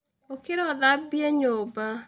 Ũkĩra ũthambie nyũmba.